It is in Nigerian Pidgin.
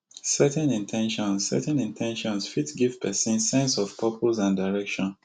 setting in ten tions setting in ten tions fit give pesin sense of purpose and direction